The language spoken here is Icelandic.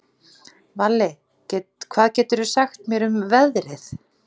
Valli, hvað geturðu sagt mér um veðrið?